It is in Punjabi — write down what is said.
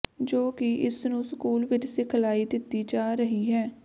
ਜੋ ਕਿ ਇਸ ਨੂੰ ਸਕੂਲ ਵਿਚ ਸਿਖਲਾਈ ਦਿੱਤੀ ਜਾ ਰਹੀ ਹੈ